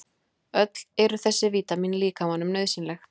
Öll eru þessi vítamín líkamanum nauðsynleg.